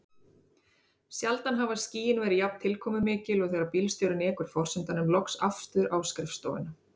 Sjaldan hafa skýin verið jafn tilkomumikil og þegar bílstjórinn ekur forsetanum loks aftur á skrifstofuna.